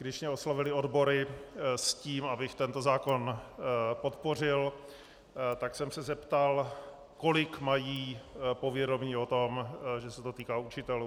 Když mě oslovily odbory s tím, abych tento zákon podpořil, tak jsem se zeptal, kolik mají povědomí o tom, že se to týká učitelů.